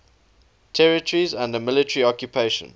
territories under military occupation